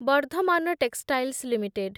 Bardhaman textiles limited